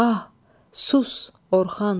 Ah, sus Orxan, sus!